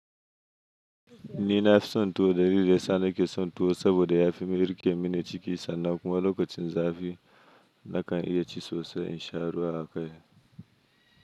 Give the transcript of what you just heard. Ni nafi son tuwo dalilin da yasa na ke son tuwo saboda ya fi mini ri kemin ciki sannan kuma lokacin zafi nakan iya ci sosai in sha ruwa haka.